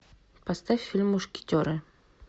поставь фильм мушкетеры